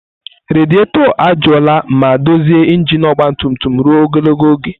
Rediator ajụọla ma dozie injin ọgba tum tum ruo ogologo oge.